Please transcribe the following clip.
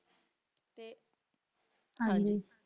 ਹਾਂਜੀ